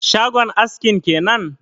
Shagon askin kenan?